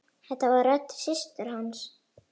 Þetta var rödd systur hans.